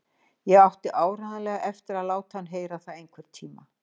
Ég átti áreiðanlega eftir að láta hann heyra það einhvern tíma.